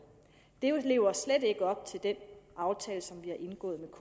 det lever slet ikke op til den aftale som vi har indgået med